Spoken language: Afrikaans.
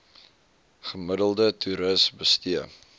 gemiddelde toeris bestee